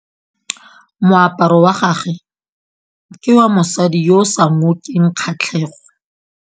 Moaparô wa gagwe ke wa mosadi yo o sa ngôkeng kgatlhegô.